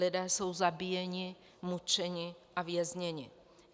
Lidé jsou zabíjeni, mučeni a vězněni.